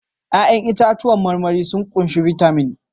Ya'yan itãcen marmari sun ƙunshi bitamin